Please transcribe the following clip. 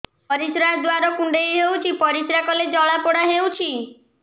ପରିଶ୍ରା ଦ୍ୱାର କୁଣ୍ଡେଇ ହେଉଚି ପରିଶ୍ରା କଲେ ଜଳାପୋଡା ହେଉଛି